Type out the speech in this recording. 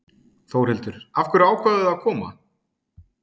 Þórhildur: Af hverju ákváðuð þið að koma?